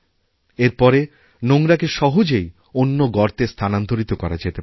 এর পরে নোংরাকেসহজেই অন্য গর্তে স্থানান্তরিত করা যেতে পারে